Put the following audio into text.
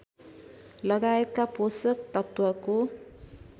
लगायतका पोषक तत्त्वको